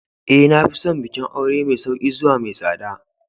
Ee. Na fi son bikin aure mai sauƙi zuwa mai tsada.